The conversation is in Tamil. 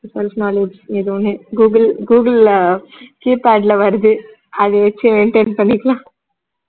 ஏதோ ஒண்ணு google google ல keypad ல வருது அது வெச்சி maintain பண்ணிக்கலாம்